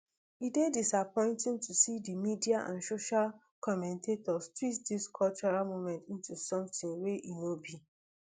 e dey disappointing to see di media and social commentators twist dis cultural moments into something wey e no be